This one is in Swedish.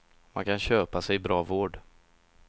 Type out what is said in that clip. Man kan köpa sig bra vård.